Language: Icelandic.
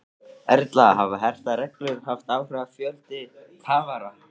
Erla, hafa hertar reglur haft áhrif á fjölda kafara?